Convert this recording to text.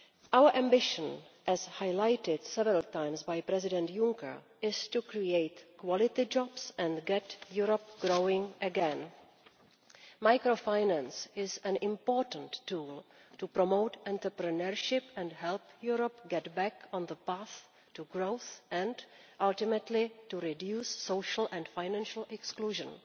Our ambition, as highlighted several times by President Juncker, is to create quality jobs and get Europe growing again. Microfinance is an important tool to promote entrepreneurship and help Europe get back on the path to growth and, ultimately, to reduce social and financial exclusion.